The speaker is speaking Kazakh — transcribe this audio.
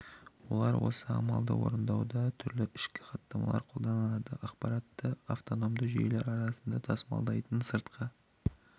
олар осы амалды орындауда түрлі ішкі хаттамаларды қолданады ақпаратты автономды жүйелер арасында тасымалдайтын сыртқы